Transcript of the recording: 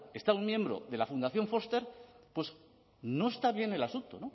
está un miembro de la fundación foster pues no está bien el asunto